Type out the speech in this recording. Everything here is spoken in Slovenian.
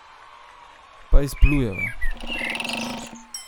Pa izplujeva.